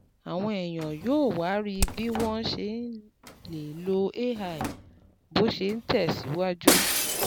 Àwọn èèyàn yóò wá rí bí wọ́n ṣe lè lo AI bó ṣe ń tẹ̀ síwájú